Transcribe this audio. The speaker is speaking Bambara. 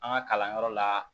An ka kalanyɔrɔ la